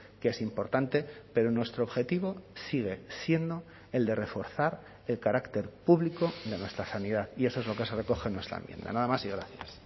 que es importante pero nuestro objetivo sigue siendo el de reforzar el carácter público de nuestra sanidad y eso es lo que se recoge en nuestra enmienda nada más y gracias